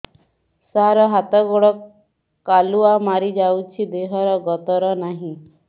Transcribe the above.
ସାର ହାତ ଗୋଡ଼ କାଲୁଆ ମାରି ଯାଉଛି ଦେହର ଗତର ନାହିଁ